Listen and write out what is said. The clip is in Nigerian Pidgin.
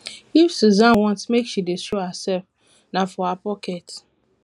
if susan want make she dey show herself na for her pocket